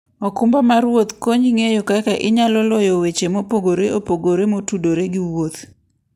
okumba mar wuoth konyi ng'eyo kaka inyalo loyo weche mopogore opogore motudore gi wuoth.